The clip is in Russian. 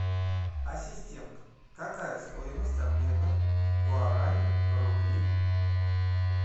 ассистент какая стоимость обмена гуарани на рубли